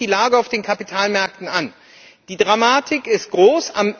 Schauen Sie sich die Lage auf den Kapitalmärkten an! Die Dramatik ist groß.